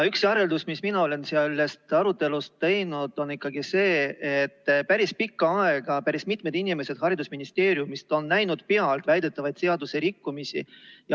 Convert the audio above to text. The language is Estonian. Üks järeldus, mis mina olen sellest arutelust teinud, on ikkagi see, et päris pikka aega on päris mitu inimest haridusministeeriumist näinud pealt väidetavaid seaduserikkumisi.